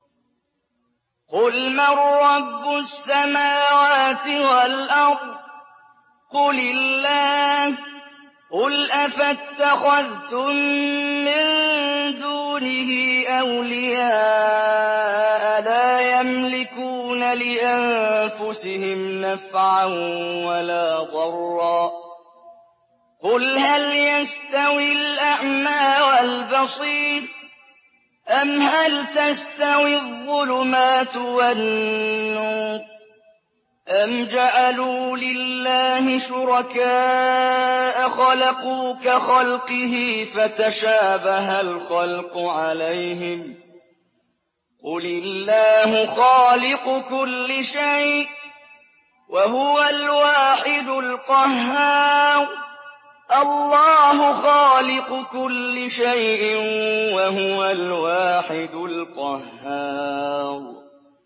قُلْ مَن رَّبُّ السَّمَاوَاتِ وَالْأَرْضِ قُلِ اللَّهُ ۚ قُلْ أَفَاتَّخَذْتُم مِّن دُونِهِ أَوْلِيَاءَ لَا يَمْلِكُونَ لِأَنفُسِهِمْ نَفْعًا وَلَا ضَرًّا ۚ قُلْ هَلْ يَسْتَوِي الْأَعْمَىٰ وَالْبَصِيرُ أَمْ هَلْ تَسْتَوِي الظُّلُمَاتُ وَالنُّورُ ۗ أَمْ جَعَلُوا لِلَّهِ شُرَكَاءَ خَلَقُوا كَخَلْقِهِ فَتَشَابَهَ الْخَلْقُ عَلَيْهِمْ ۚ قُلِ اللَّهُ خَالِقُ كُلِّ شَيْءٍ وَهُوَ الْوَاحِدُ الْقَهَّارُ